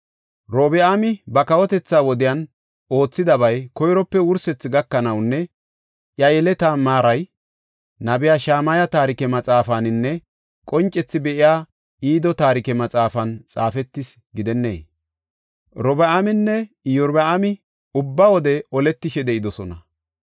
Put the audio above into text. Robi7aami ba kawotetha wodiyan oothidabay koyrope wursethi gakanawunne iya yeletaa maaray, Nabiya Shamaya taarike maxaafaninne qoncethi be7iya Ido taarike maxaafan xaafetis gidennee? Robi7aaminne Iyorbaami ubba wode oletishe de7idosona.